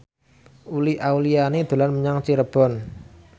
Uli Auliani dolan menyang Cirebon